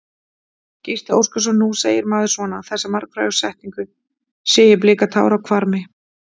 Gísli Óskarsson: Nú segir maður svona, þessa margfrægu setningu, sé ég blika tár á hvarmi?